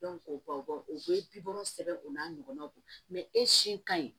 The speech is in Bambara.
o b'a bɔ o bɛ bibɔ sɛbɛn o n'a ɲɔgɔnnaw don e si ka ɲi